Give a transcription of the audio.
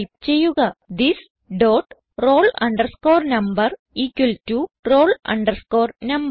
type ചെയ്യുക this dot roll number equal to roll number